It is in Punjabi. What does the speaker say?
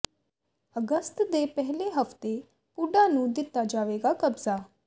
ਅਗਸਤ ਦੇ ਪਹਿਲੇ ਹਫ਼ਤੇ ਪੁੱਡਾ ਨੂੰ ਦਿੱਤਾ ਜਾਵੇਗਾ ਕਬਜ਼ਾ